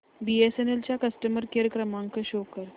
BSNL चा customer care क्रमांक show कर